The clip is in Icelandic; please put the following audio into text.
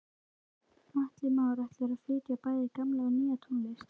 Atli Már: Ætlarðu að flytja bæði gamla og nýja tónlist?